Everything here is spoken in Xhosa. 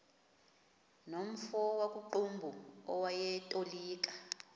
nomfo wakuqumbu owayetolika